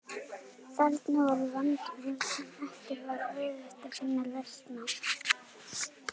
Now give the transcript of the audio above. Þarna var vandamál sem ekki var auðvelt að finna lausn á.